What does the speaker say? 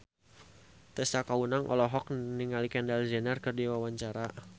Tessa Kaunang olohok ningali Kendall Jenner keur diwawancara